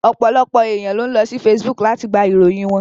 Ọ̀pọ̀lọpọ̀ èèyàn ló ń lọ sí Facebook láti gba ìròyìn wọn